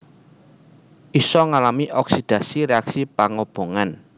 Isa ngalami oksidasi réaksi pangobongan